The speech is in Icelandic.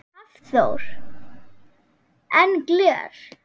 Hafþór: En gler?